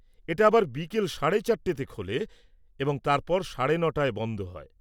এটা আবার বিকেল ৪.৩০-তে খোলে এবং তারপর সাড়ে নটায় বন্ধ হয়।